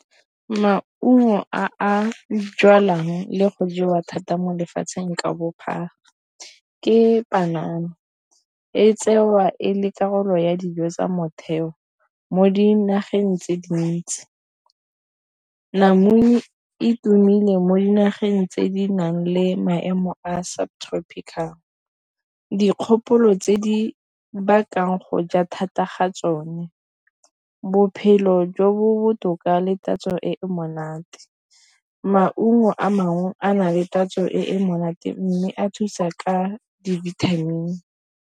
Maungo a jalwang le go jewa thata mo lefatsheng ka bophara ke panana e tsewa e le karolo ya dijo tsa motheo mo dinageng tse dintsi namune e tumile mo dinageng tse di nang le maemo a subtropical jang dikgopolo tse di bakang goja thata ga tsone bophelo jo bo botoka le tatso e monate. Maungo a mangwe a na le tatso e monate mme a thusa ka di-vitamin.